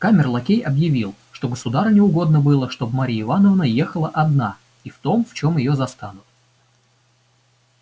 камер-лакей объявил что государыне угодно было чтоб марья ивановна ехала одна и в том в чем её застанут